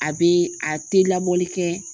A be a te labɔli kɛ